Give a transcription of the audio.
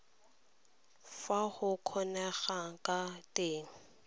fa go kgonegang ka teng